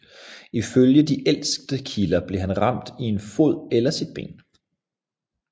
Ifølge de ældste kilder blev han ramt i en fod eller sit ben